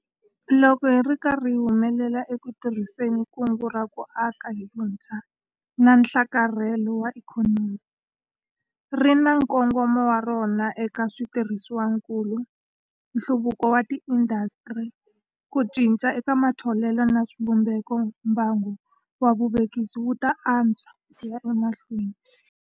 Loko hi ri karhi hi humelela eku tirhiseni ka Kungu ra ku Aka hi Vutshwa na Nhlakarhelo wa Ikhonomi - ri ri na nkongomo wa rona eka switirhisiwakulu, nhluvukiso wa tiindasitiri, ku cinca eka matholelo na swivumbeko - mbangu wa vuvekisi wu ta antswa ku ya emahlweni.